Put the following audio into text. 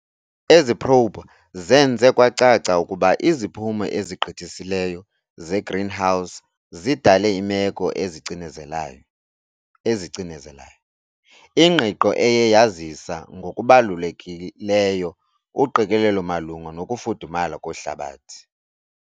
Ezi probe zenze kwacaca ukuba iziphumo ezigqithisileyo ze-greenhouse zidale iimeko ezicinezelayo, ingqiqo eye yazisa ngokubalulekileyo uqikelelo malunga nokufudumala kwehlabathi .